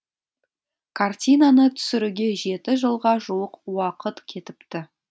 картинаны түсіруге жеті жылға жуық уақыт кетіпті